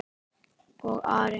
Og Ari?